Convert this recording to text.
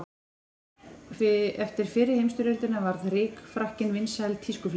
Eftir fyrri heimsstyrjöldina varð rykfrakkinn vinsæl tískuflík.